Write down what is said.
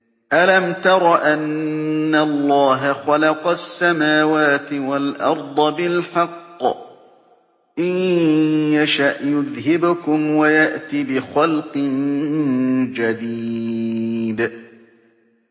أَلَمْ تَرَ أَنَّ اللَّهَ خَلَقَ السَّمَاوَاتِ وَالْأَرْضَ بِالْحَقِّ ۚ إِن يَشَأْ يُذْهِبْكُمْ وَيَأْتِ بِخَلْقٍ جَدِيدٍ